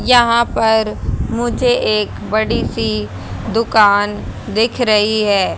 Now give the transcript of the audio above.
यहां पर मुझे एक बड़ी सी दुकान दिख रही है।